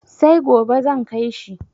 Sai gobe zan kai shi.